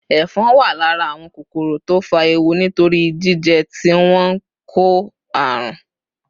Ẹ̀fọn wà lára ​​àwọn kòkòrò tó fa ewu nítorí jíjẹ́ tí wọ́n ń kó àrùn.